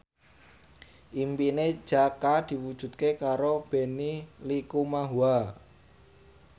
impine Jaka diwujudke karo Benny Likumahua